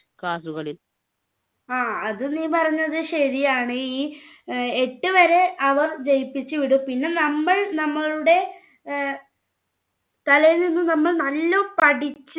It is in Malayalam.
അത് നീ പറഞ്ഞത് ശരിയാണ്. ഈ എട്ടു വരെ അവർ ജയിപ്പിച്ചുവിടും. പിന്നെ നമ്മൾ നമ്മളുടെ തലയിൽ നിന്ന്നല്ലോണം പഠിച്ചു